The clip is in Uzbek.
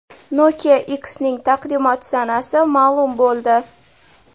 Nokia X’ning taqdimot sanasi ma’lum bo‘ldi.